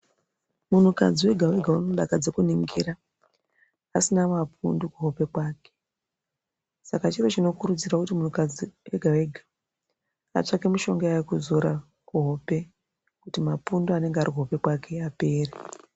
Munhukadzi wega wega unodakadze kuningirwa asina mapundu kuhope kwake Saka chiro chinokurudzirwa kuti munhukadzi wega wega atsvake mishonga yekuzora kuhope kuti mapundu anenge arikuhope kwake apere.